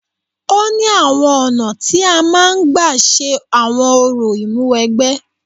Ó ní àwọn ọ̀nà tí a máa ń gbà ṣe àwọn orò ìmúwẹgbẹ́.